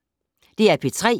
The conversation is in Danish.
DR P3